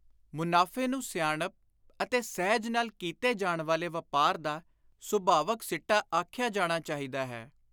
ਮੁਨਾਫ਼ੇ ਨੂੰ ਸਿਆਣਪ ਅਤੇ ਸਹਿਜ ਨਾਲ ਕੀਤੇ ਜਾਣ ਵਾਲੇ ਵਾਪਾਰ ਦਾ ਸੁਭਾਵਕ ਸਿੱਟਾ ਆਖਿਆ ਜਾਣਾ ਚਾਹੀਦਾ ਹੈ।